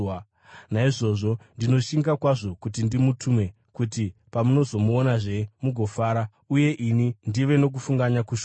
Naizvozvo ndinoshinga kwazvo kuti ndimutume, kuti pamunomuonazve mugofara uye ini ndive nokufunganya kushoma.